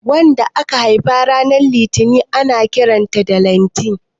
wanda aka Haifa ran litinin ana Kiransa danliti